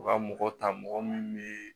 U ka mɔgɔ ta mɔgɔ min bɛ